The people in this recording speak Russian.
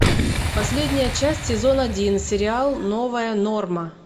последняя часть сезон один сериал новая норма